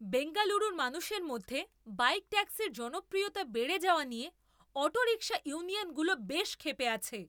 বেঙ্গালুরুর মানুষের মধ্যে বাইক ট্যাক্সির জনপ্রিয়তা বেড়ে যাওয়া নিয়ে অটো রিকশা ইউনিয়নগুলো বেশ ক্ষেপে আছে।